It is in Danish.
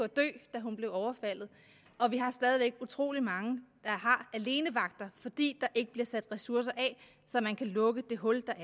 da hun blev overfaldet og vi har stadig væk utrolig mange der har alenevagter fordi ikke bliver sat ressourcer af så man kan lukke det hul